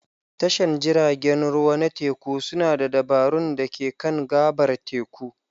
Tashar jiragen ruwa na teku suna da dabarun da ke kan gabar teku.